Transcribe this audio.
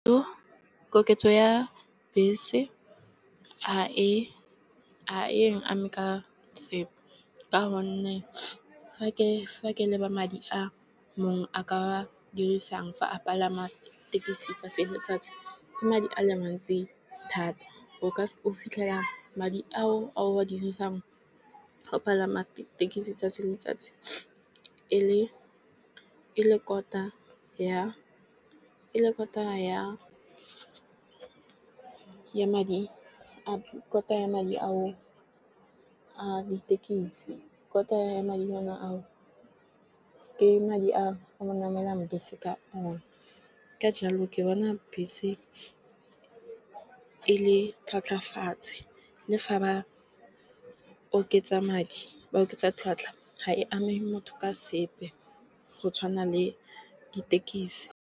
Koketso ya bese ga e ame ka sepe ka gonne fa ke leba madi a mongwe a ka dirisang fa a palama thekisi 'tsatsi le letsatsi ke madi a le mantsi thata. O ka o fitlhela madi ao a o a dirisang fa o palama thekisi 'tsatsi le letsatsi e le kota, e le kotara ya madi. Kota ya madi a o a ditekisi kota madinyana ao. Ke madi a o namelang bese ka one, ka jalo ke bona bese e le tlhotlhafatshe le fa ba oketsa madi ba oketsa tlhotlha ha e ame motho ka sepe go tshwana le ditekisi.